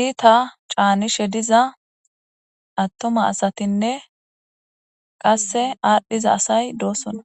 itta canishe diza attuma asatine qase adhiza asay dosona